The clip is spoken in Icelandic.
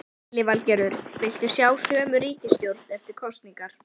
Lillý Valgerður: Vilt þú sjá sömu ríkisstjórn eftir kosningar?